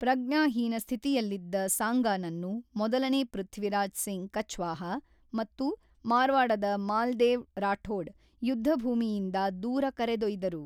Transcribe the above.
ಪ್ರಜ್ಞಾಹೀನ ಸ್ಥಿತಿಯಲ್ಲಿದ್ದ ಸಾಂಗಾನನ್ನು ಮೊದಲನೇ ಪೃಥ್ವಿರಾಜ್ ಸಿಂಗ್ ಕಛ್ವಾಹಾ ಮತ್ತು ಮಾರ್ವಾಡದ ಮಾಲ್ದೇವ್ ರಾಠೋಡ್ ಯುದ್ಧಭೂಮಿಯಿಂದ ದೂರ ಕರೆದೊಯ್ದರು.